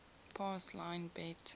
pass line bet